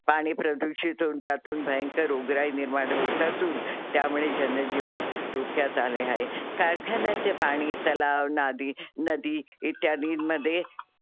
पाणी प्रदूषित होऊन त्यातून भंयकर रोगराई निर्माण होतातून त्यामुळे जनजीवन धोक्यात आले आहे. कारखानायचे पाणी तलाव नादी नदी इत्यादींमध्ये